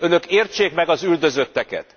Önök értsék meg az üldözötteket!